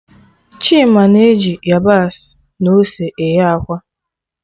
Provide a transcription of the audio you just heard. Chima na eji yabasị na ose eghe akwa